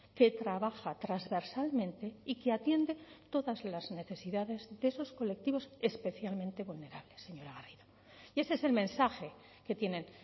que trabaja transversalmente y que atiende todas las necesidades de esos colectivos especialmente vulnerables señora garrido y ese es el mensaje que tienen